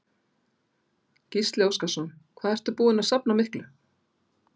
Gísli Óskarsson: Hvað ertu búinn að safna miklu?